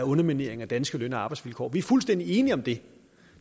underminering af danske løn og arbejdsvilkår vi er fuldstændig enige om det